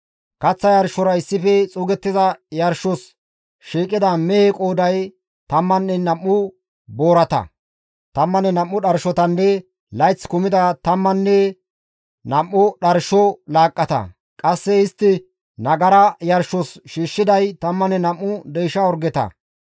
Kaththa yarshora issife xuugettiza yarshos shiiqida mehe qooday 12 boorata, 12 dharshotanne layth kumida 12 dharsho laaqqata; qasse istti nagara yarshos shiishshiday 12 deysha orgeta.